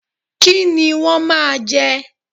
Kí ni wọ́n máa jẹ?